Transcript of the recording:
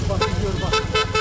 Bax, bax, bax.